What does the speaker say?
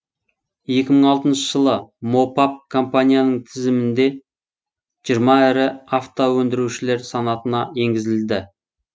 екі мың алтыншы жылы мопап компанияның тізімінде жиырма ірі автоөндірушілер санатына енгізілді